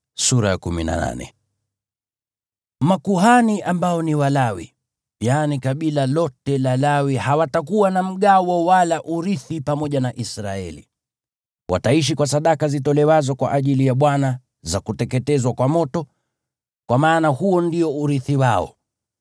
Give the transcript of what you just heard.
Makuhani ambao ni Walawi, yaani kabila lote la Lawi, hawatakuwa na mgawo wala urithi pamoja na Israeli. Wataishi kwa sadaka zitolewazo kwa ajili ya Bwana za kuteketezwa kwa moto, kwa maana huo ndio urithi wao.